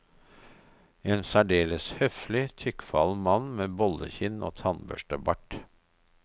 En særdeles høflig, tykkfallen mann med bollekinn og tannbørstebart.